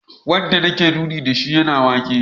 Wanda nake nuni da shi yana waka